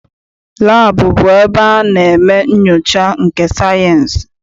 Laabụ bụ ebe a na-eme nnyocha nke sayịensị.